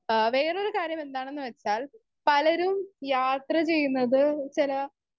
speaker 1 ആ വേറൊരു കാര്യം എന്താണെന്ന് വെച്ചാൽ പലരും യാത്ര ചെയ്യുന്നത് ചില